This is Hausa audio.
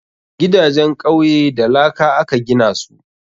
Gidajen ƙauye da laka aka gina su